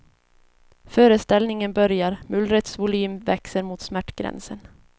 Föreställningen börjar, mullrets volym växer mot smärtgränsen.